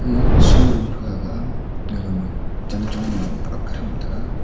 a show room taga aga a aga ma chan chong low ak cham taga.